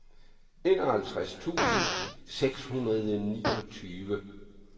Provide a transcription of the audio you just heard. enoghalvtreds tusind seks hundrede og niogtyve